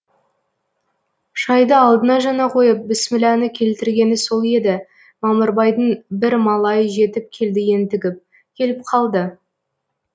шайды алдына жаңа койып біссміләні келтіргені сол еді мамырбайдың бір малайы жетіп келді ентігіп келіп калды